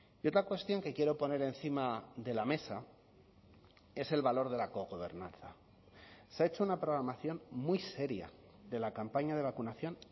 y otra cuestión que quiero poner encima de la mesa es el valor de la cogobernanza se ha hecho una programación muy seria de la campaña de vacunación